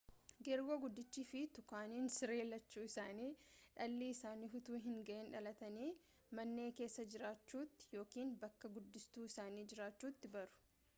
geergoo guddichii fi tukaaniin siree lachuun isaanii dhalli isaanii utuu hinga'in dhalatnii man'ee keessa jiraachuutti yookaan bakka guddistuu isaanii jiraachuutti baru